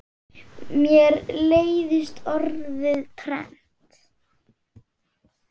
Mér leiðist orðið trend.